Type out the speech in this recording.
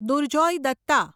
Durjoy Datta